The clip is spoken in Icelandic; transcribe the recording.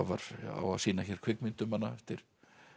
á sýna hér kvikmynd um hana eftir